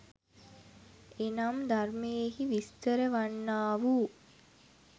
එනම් ධර්මයෙහි විස්තර වන්නා වූ